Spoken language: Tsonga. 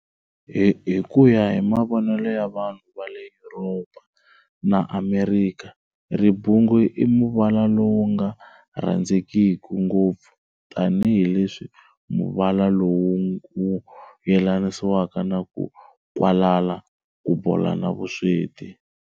Hikuya hi mavonele ya vanhu vale Yuropa na Amerikha, ribungu i muvala lowu nga rhandzekiku ngopfu tani hi leswi muvala lowu wu yelanisiwaka na ku nkwalala, ku bola na vusweti.